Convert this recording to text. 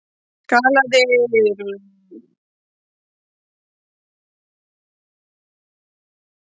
GLAÐI GULRÓTARSÖNGURINNFANDALAGGAHOJ